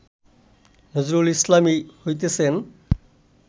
নজরুল ইসলামই হইতেছেন